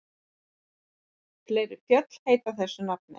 Fleiri fjöll heita þessu nafni.